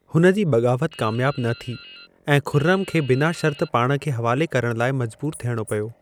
हुन जी बग़ावत कामियाबु न थी ऐं खुर्रम खे बिना शर्त पाण खे हवाले करण लाइ मजबूरु थियणो पियो।